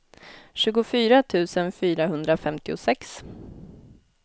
tjugofyra tusen fyrahundrafemtiosex